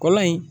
Kɔlɔn in